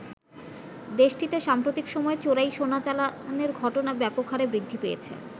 দেশটিতে সাম্প্রতিক সময়ে চোরাই সোনা চালানের ঘটনা ব্যাপক হারে বৃদ্ধি পেয়েছে।